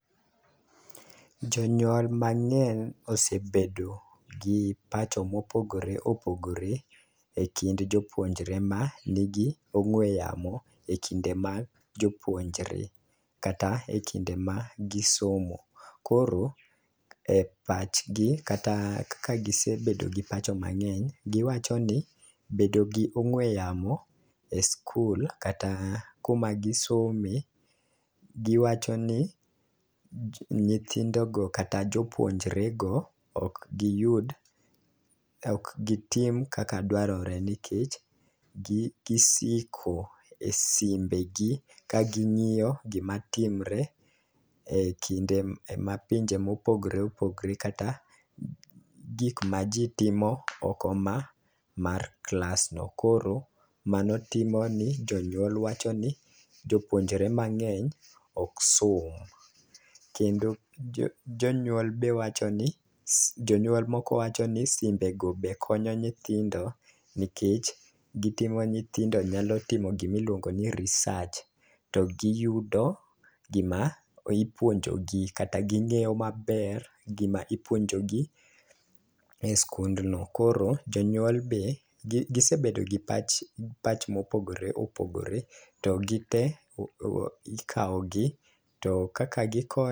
Jonyuol mang'eny osebedo gi pacho mopogore opogore e kind jopuonjre manigi ong'we yamo e kinde ma jopuonjre kata e kinde ma gisomo . Koro e pachgi kata kaka gisebedo gi pacho mang'eny giwacho ni bedo gi ong'we yamo e skul kata kuma gisome giwacho ni nyithindo go kata jopuonjre go ok giyud ok gitim kaka dwarore nikech gi gisiko e simbe gi ka ging'iyo gima timre e kinde mapinje mopogore opgre kata gik ma jii timo oko ma mar klas go. Koro mano timo ni jonyuol wacho ni jopuonjre mang'eny ok som. Kendo jonyuol be wacho ni jonyuol moko wacho ni simbe go be konyo nyithindo nikech gitumo nithindo nyako timo gimiluongo ni research to giyudo gima ipuonjo gi kata ging'eyo maber gima ipuonjo gi e skundno. Koro jonyuol be gisebedo gi pach pach mopogore opogore to gite o ikawo gi to kaka giko